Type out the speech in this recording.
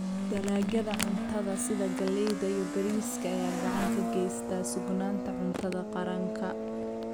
Dalagyada cuntada sida galleyda iyo bariiska ayaa gacan ka geysta sugnaanta cuntada qaranka.